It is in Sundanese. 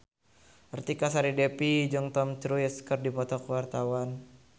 Artika Sari Devi jeung Tom Cruise keur dipoto ku wartawan